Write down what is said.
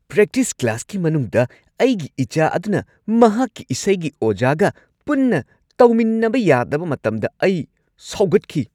Practice ꯀ꯭ꯂꯥꯁꯀꯤ ꯃꯅꯨꯡꯗ ꯑꯩꯒꯤ ꯏꯆꯥ ꯑꯗꯨꯅ ꯃꯍꯥꯛꯀꯤ ꯏꯁꯩꯒꯤ ꯑꯣꯖꯥꯒ ꯄꯨꯟꯅ ꯇꯧꯃꯤꯟꯅꯕ ꯌꯥꯗꯕ ꯃꯇꯝꯗ ꯑꯩ ꯁꯥꯎꯒꯠꯈꯤ꯫